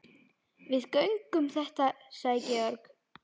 Við göngum þetta sagði Georg.